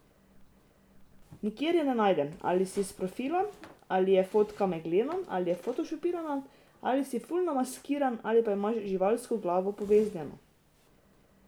Nikjer je ne najdem, ali si s profila, ali je fotka meglena ali je fotošopirana, ali si ful namaskiran, ali pa imaš živalsko glavo poveznjeno ...